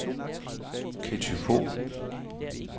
Ketty Fogh